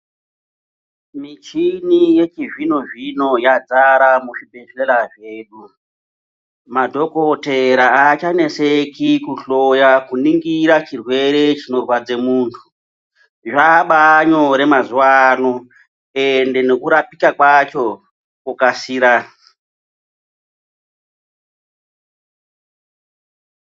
Michini yechizvinozvino yazara muzvibhehlera zvedu madhokodhera achaneseki kuhloya kuningira chirwere chinorwadze munhu zvabanyore mazuwa ano ende nekurapika kwacho kwokasira.